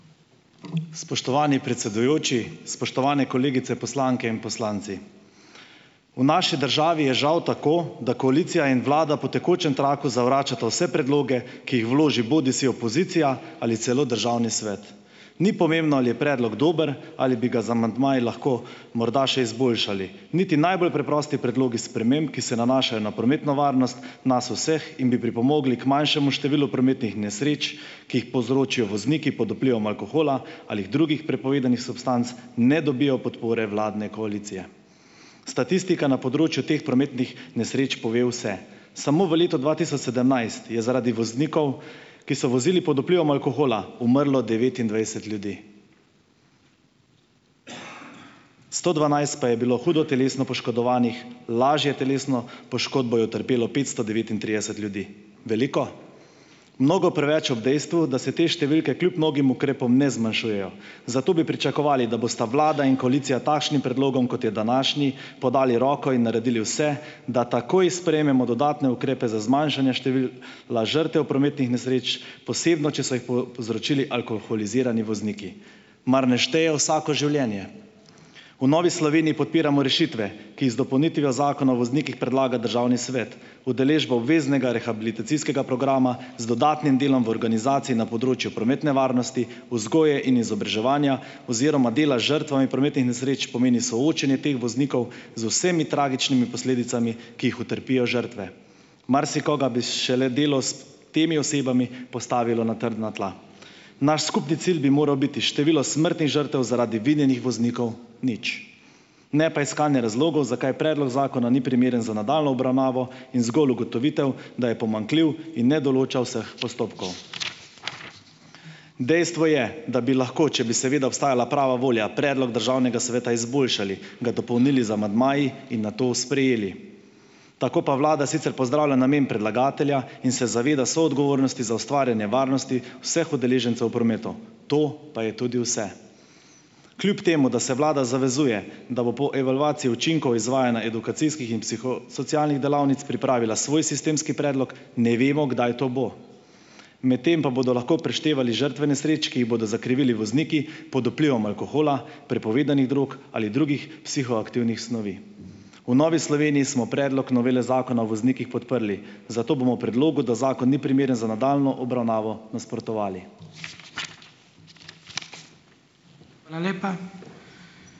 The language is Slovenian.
Spoštovani predsedujoči, spoštovane kolegice poslanke in poslanci. V naši državi je žal tako, da koalicija in Vlada po tekočem traku zavračata vse predloge, ki jih vloži bodisi opozicija ali celo Državni svet. Ni pomembno, ali je predlog dober, ali bi ga z amandmaji lahko morda še izboljšali. Niti najbolj preprosti predlogi sprememb, ki se nanašajo na prometno varnost nas vseh in bi pripomogli k manjšemu številu prometnih nesreč, ki jih povzročijo vozniki pod vplivom alkohola, ali drugih prepovedanih substanc, ne dobijo podpore vladne koalicije. Statistika na področju teh prometnih nesreč pove vse. Samo v letu dva tisoč sedemnajst je zaradi voznikov, ki so vozili pod vplivom alkohola, umrlo devetnajst ljudi, sto dvanajst pa je bilo hudo telesno poškodovanih, lažje telesno poškodbo je utrpelo petsto devetintrideset ljudi. Veliko? Mnogo preveč ob dejstvu, da se te številke kljub mnogim ukrepom ne zmanjšujejo, zato bi pričakovali, da bosta Vlada in koalicija takšnim predlogom, kot je današnji, podali roko in naredili vse, da takoj sprejmemo dodatne ukrepe za zmanjšanje števila žrtev prometnih nesreč, posebno če so jih povzročili alkoholizirani vozniki. Mar ne šteje vsako življenje? V Novi Sloveniji podpiramo rešitve, ki jih z dopolnitvijo zakona o voznikih predlaga Državni svet. Udeležbo obveznega rehabilitacijskega programa z dodatnim delom v organizaciji na področju prometne varnosti, vzgoje in izobraževanja oziroma dela z žrtvami prometnih nesreč pomeni soočenje teh voznikov z vsemi tragičnimi posledicami, ki jih utrpijo žrtve. Marsikoga bi šele delo s temi osebami postavilo na trdna tla. Naš skupni cilj bi moral biti število smrtnih žrtev zaradi vinjenih voznikov: nič. Ne pa iskanje razlogov, zakaj predlog zakona ni primeren za nadaljnjo obravnavo, in zgolj ugotovitev, da je pomanjkljiv in ne določa vseh postopkov. Dejstvo je, da bi lahko, če bi seveda obstajala prava volja, predlog Državnega sveta izboljšali, ga dopolnili z amandmaji in nato sprejeli. Tako pa Vlada sicer pozdravila namen predlagatelja in se zaveda soodgovornosti za ustvarjanje varnosti vseh udeležencev v prometu. To pa je tudi vse. Kljub temu da se Vlada zavezuje, da bo po evalvaciji učinkov izvajanja edukacijskih in psihosocialnih delavnic pripravila svoj sistemski predlog, ne vemo, kdaj to bo. Medtem pa bodo lahko preštevali žrtve nesreč, ki jih bodo zakrivili vozniki pod vplivom alkohola, prepovedanih drog ali drugih psihoaktivnih snovi. V Novi Sloveniji smo predlog novele zakona o voznikih podprli. Zato bomo predlogu, da zakon ni primeren za daljno obravnavo, nasprotovali.